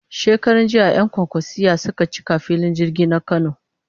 Shekaranjiya 'yan kwankwasiyya suka cika filin jirgin na Kano